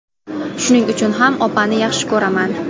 Shuning uchun ham opani yaxshi ko‘raman.